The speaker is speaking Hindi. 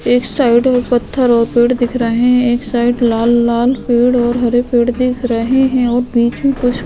एक साइड में पत्थर और पेड़ दिख रहे है एक साइड लाल लाल पेड़ और हरे पेड़ दिख रहे है और बीच में कुछ --